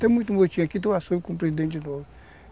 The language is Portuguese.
Tem muito moitinho aqui, tu assume como presidente de novo.